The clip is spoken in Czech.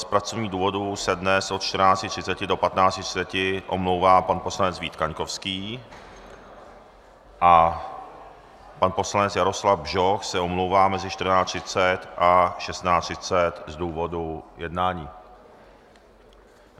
Z pracovních důvodů se dnes od 14.30 do 15.30 omlouvá pan poslanec Vít Kaňkovský a pan poslanec Jaroslav Bžoch se omlouvá mezi 14.30 a 16.30 z důvodu jednání.